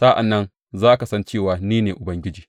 Sa’an nan za ka san cewa ni ne Ubangiji.